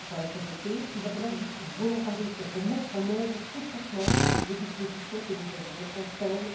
va être voté, il faudra du volontarisme pour mettre en œuvre, concrètement, les dispositions que nous avons décidées ensemble,